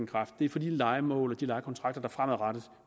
kraft det er for de lejemål og de lejekontrakter der fremadrettet